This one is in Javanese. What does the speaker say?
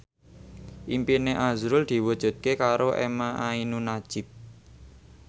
impine azrul diwujudke karo emha ainun nadjib